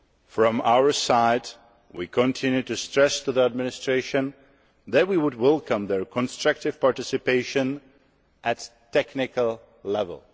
From our side, we continue to stress to the administration that we would welcome their constructive participation at technical level.